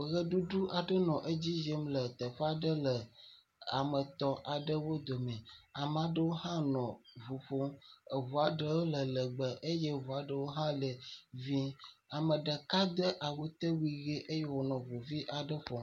Ʋeɖuɖu aɖe nɔ edzi yim le teƒe aɖe le ame etɔ̃ aɖewo dome. Ame aɖewo hã nɔ ŋu ƒom. Eŋua ɖewo le lɛgbɛ eye eŋua ɖewo hã le vɛ̃. Ame ɖeka de awutewui ʋe eye wònɔ ŋuvi aɖe ƒom.